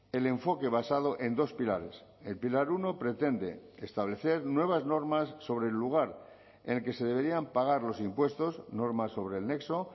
el enfoque basado en dos pilares el pilar uno pretende establecer nuevas normas sobre el lugar en el que se deberían pagar los impuestos normas sobre el nexo